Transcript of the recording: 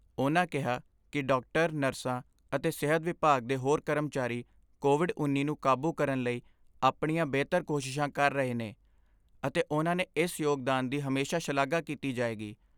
ਉਨ੍ਹਾਂ ਕਿਹਾ ਕਿ ਡਾਕਟਰ, ਨਰਸਾਂ ਅਤੇ ਸਿਹਤ ਵਿਭਾਗ ਦੇ ਹੋਰ ਕਰਮਚਾਰੀ ਕੋਵਿਡ ਉੱਨੀ ਨੂੰ ਕਾਬੂ ਕਰਨ ਲਈ ਆਪਣੀਆਂ ਬਿਹਤਰ ਕੋਸ਼ਿਸ਼ਾਂ ਕਰ ਰਹੇ ਨੇ, ਅਤੇ ਉਨ੍ਹਾਂ ਦੇ ਇਸ ਯੋਗਦਾਨ ਦੀ ਹਮੇਸ਼ਾ ਸ਼ਲਾਘਾ ਕੀਤੀ ਜਾਏਗੀ।